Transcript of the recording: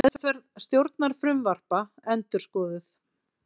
Meðferð stjórnarfrumvarpa endurskoðuð